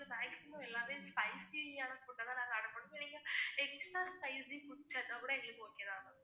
maximum எல்லாமே spicy ஆன food ஐ தான் நாங்க order பண்ணுவோம். நீங்க spicy food கிடைச்சா கூட எங்களுக்கு okay தான் ma'am